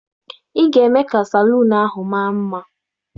Ị ga-eme ka salon ahụ mara mma!